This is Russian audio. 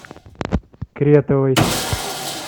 кретовой